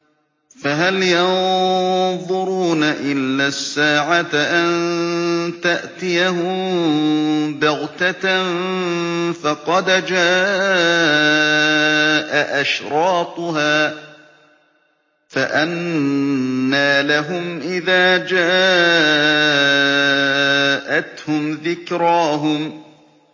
فَهَلْ يَنظُرُونَ إِلَّا السَّاعَةَ أَن تَأْتِيَهُم بَغْتَةً ۖ فَقَدْ جَاءَ أَشْرَاطُهَا ۚ فَأَنَّىٰ لَهُمْ إِذَا جَاءَتْهُمْ ذِكْرَاهُمْ